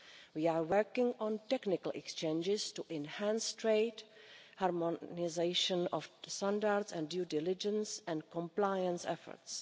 We are working on technical exchanges to enhance trade, harmonisation of standards and due diligence and compliance efforts.